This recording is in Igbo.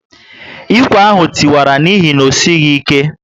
Ikwe ahụ tiwara n'ihi na osighi ike